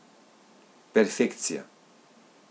Perfekcija.